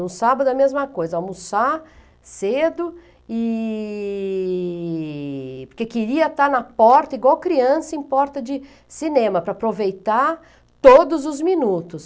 No sábado a mesma coisa, almoçar cedo e... Porque queria estar na porta, igual criança, em porta de cinema, para aproveitar todos os minutos.